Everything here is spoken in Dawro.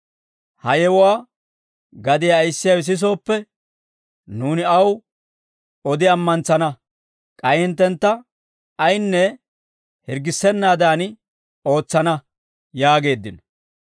Ha yewuwaa gadiyaa ayissiyaawe sisooppe, nuuni aw odi ammantsana; k'ay hinttentta ayinne hirggissennaadan ootsana» yaageeddino.